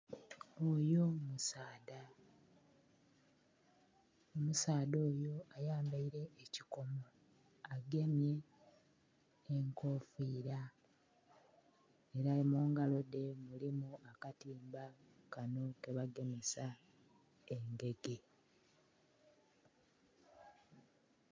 Oyo musaadha, omusaadha oyo ayambaire ekikomo agemye nhe enkofira era mungalo dhe mulimu akatimba kanho kebagemesa engege.